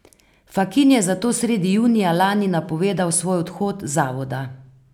Fakin je zato sredi julija lani napovedal svoj odhod z zavoda.